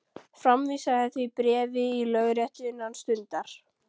Framvísaðu því bréfi í lögréttu innan stundar.